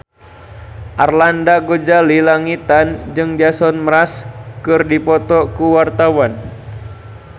Arlanda Ghazali Langitan jeung Jason Mraz keur dipoto ku wartawan